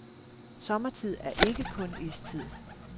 Sommertid er ikke kun istid.